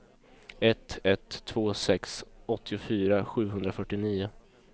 ett ett två sex åttiofyra sjuhundrafyrtionio